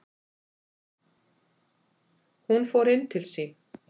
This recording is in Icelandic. Hún fór inn til sín.